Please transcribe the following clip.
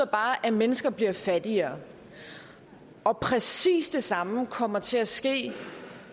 bare at mennesker bliver fattigere præcis det samme kommer til at ske